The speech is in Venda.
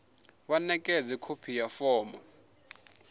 vha ṋekedze khophi ya fomo